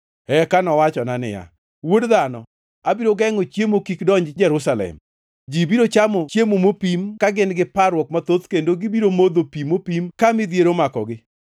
Eka nowachona niya, “Wuod dhano, abiro gengʼo chiemo kik donji Jerusalem. Ji biro chamo chiemo mopim ka gin gi parruok mathoth kendo gibiro modho pi mopim ka midhiero omakogi,